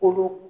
Kolo